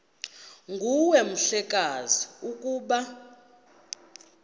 nguwe mhlekazi ukuba